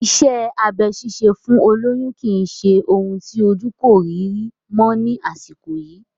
Iṣẹ́ abẹ ṣíṣe fún olóyún kì í ṣe ohun tí ojú kò rí rí mọ́ ni àsìkò yìí